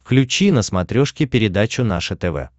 включи на смотрешке передачу наше тв